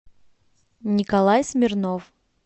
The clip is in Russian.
николай смирнов